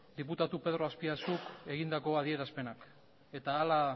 diputatu pedro aspiazuk egindako adierazpenak eta hala